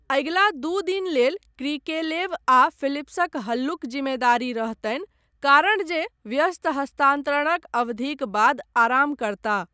अगिला दू दिन लेल क्रिकेलेव आ फिलिप्सक हल्लुक जिम्मेदारी रहतनि कारण जे व्यस्त हस्तान्तरणक अवधिक बाद आराम करताह।